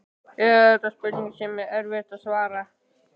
Eða er þetta spurning sem er erfitt að svara?